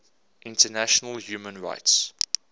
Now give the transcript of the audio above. international human rights